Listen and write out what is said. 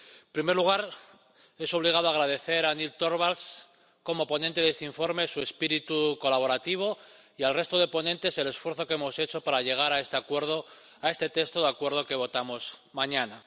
En primer lugar, es obligado agradecer a Nils Torvalds, como ponente de este informe, su espíritu colaborativo, y al resto de ponentes el esfuerzo que hemos hecho para llegar a este acuerdo, a este texto de acuerdo que votamos mañana.